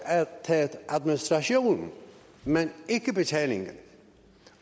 administrationen men ikke betalingen